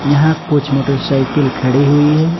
यहां कुछ मोटरसाइकिल खड़ी हुई है।